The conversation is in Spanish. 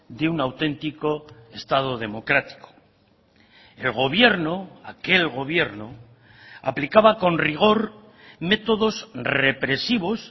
de un auténtico estado democrático el gobierno aquel gobierno aplicaba con rigor métodos represivos